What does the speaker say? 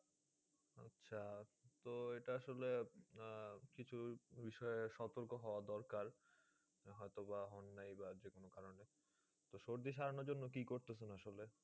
আচ্ছা তো এটা আসলে আহ কিছু বিষয়ে সতর্ক হওয়া দরকার হয়তো বা অন্যায় বা যেকোনো কারণে। তো সর্দি সারানোর জন্য কী করতেছেন আসলে?